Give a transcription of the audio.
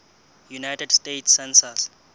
united states census